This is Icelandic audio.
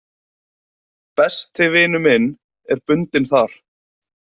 Besti vinur minn er bundinn þar